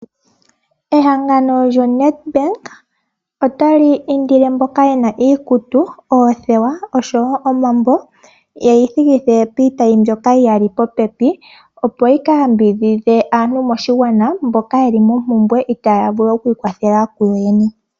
Ehangano lyo NedBank otali indile mboka yena iikutu, oothewa oshowo omambo yeyi thikithe piitayi mbyoka yi yali popepi opo yi ka yambidhidhe aantu moshigwana mboka yeli mompumbwe itaaya vulu okwi ikwathela ku yoyene.